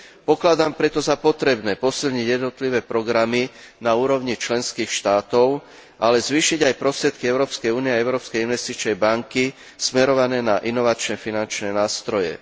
Pokladám preto za potrebné posilniť jednotlivé programy na úrovni členských štátov, ale zvýšiť aj prostriedky Európskej únie a Európskej investičnej banky smerované na inovačné finančné nástroje.